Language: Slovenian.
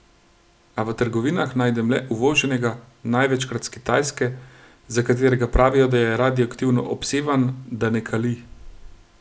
A v trgovinah najdem le uvoženega, največkrat s Kitajske, za katerega pravijo, da je radioaktivno obsevan, da ne kali.